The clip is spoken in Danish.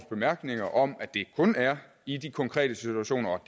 bemærkninger om at det kun er i de konkrete situationer og